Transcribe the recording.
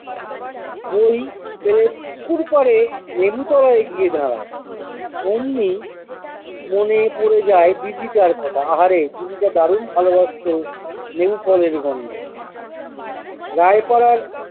বই তে পুকুরপাড়ে লেবুতলায় গিয়ে দাঁড়া্‌ অমনি মনে পরে যায় দিদিটার কথা আহারে দিদিটা দারুন ভালোবাসতো লেবুফলের গন্ধ রায়পাড়ার